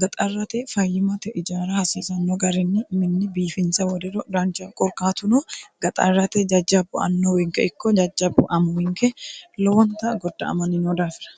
gaxarrate fayyimate ijaara hasiisanno garinni minne biifinse woriro danchaho korkaatuno gaxarrate jajjabbu annowinke ikko jajjabbu amuwinke lowonta godda'amani no daafira.